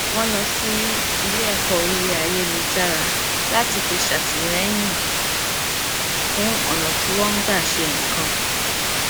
wọn lọ sí ilé ẹkọ orí ayélujára láti fi ṣàtìlẹyìn fún ọnà tí wọn ń gbà ṣe nǹkan